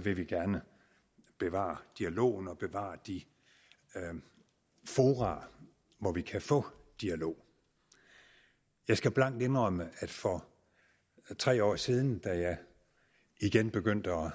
vil vi gerne bevare dialogen og bevare de fora hvor vi kan få dialog jeg skal blankt indrømme at for tre år siden da jeg igen begyndte at